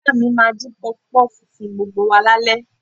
Ìyá mi máa dín Pọfupọ́ọ̀fù fún gbogbo wa lálẹ́